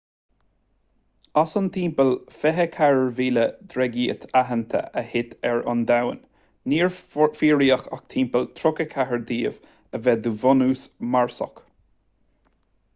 as an timpeall 24,000 dreigít aitheanta a thit ar an domhan níor fíoraíodh ach timpeall 34 díobh a bheith de bhunús marsach